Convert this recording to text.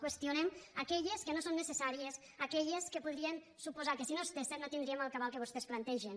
qüestionem aquelles que no són necessàries aquelles que podrien suposar que si no es fessen no tindríem el cabal que vostès plantegen